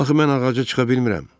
Axı mən ağaca çıxa bilmirəm.